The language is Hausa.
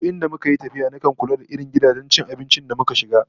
Duk in muka yi tafiya nakan kula da irin gidajen cin abinci da mukan shiga